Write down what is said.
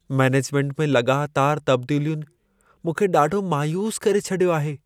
Management में लॻातार तबदीलियुनि मूंखे ॾाढो मायूस करे छॾियो आहे।